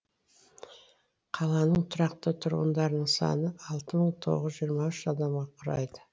қаланың тұрақты тұрғындарының саны алты мың тоғыз жүз жиырма үш адамды құрайды